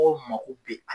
Mɔgɔw mako bɛ